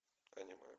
аниме